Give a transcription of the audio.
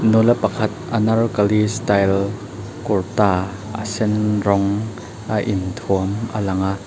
nula pakhat anarkali style kurta a sen rawng a inthuam a lang a.